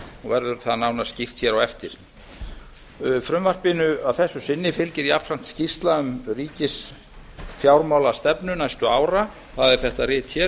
og verður það nánar skýrt hér á eftir frumvarpinu fylgir að þessu sinni jafnframt skýrsla um ríkisfjármálastefnu næstu ára það er þetta rit hér